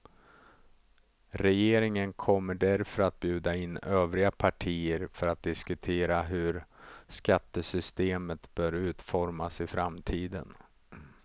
Regeringen kommer därför att bjuda in övriga partier för att diskutera hur skattesystemet bör utformas i framtiden.